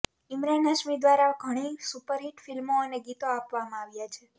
ઇમરાન હાશ્મી ઘ્વારા ઘણી સુપરહિટ ફિલ્મો અને ગીતો આપવામાં આવ્યા છે